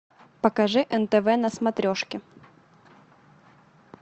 покажи нтв на смотрешке